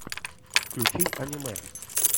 включи аниме